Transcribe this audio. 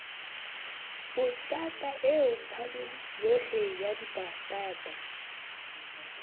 patanta eo paloyohle ya dipatanta